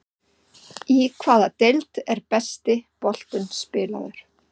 Í hvaða deild er besti boltinn spilaður?